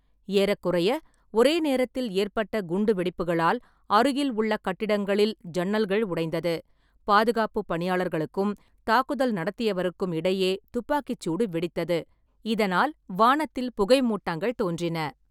ஏறக்குறைய ஒரே நேரத்தில் ஏற்பட்ட குண்டுவெடிப்புகளால், அருகில் உள்ள கட்டிடங்களில் ஜன்னல்கள் உடைந்தது, பாதுகாப்புப் பணியாளர்களுக்கும், தாக்குதல் நடத்தியவருக்கும் இடையே துப்பாக்கிச் சூடு வெடித்தது. இதனால் வானத்தில் புகைமூட்டங்கள் தோன்றின.